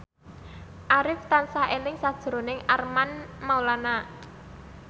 Arif tansah eling sakjroning Armand Maulana